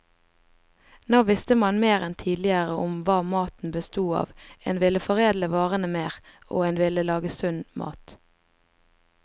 Nå visste man mer enn tidligere om hva maten bestod av, en ville foredle varene mer, og en ville lage sunn mat.